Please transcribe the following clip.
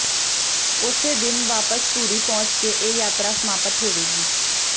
ਉਸੇ ਦਿਨ ਵਾਪਸ ਧੂਰੀ ਪਹੁੰਚ ਕੇ ਇਹ ਯਾਤਰਾ ਸਮਾਪਤ ਹੋਵੇਗੀ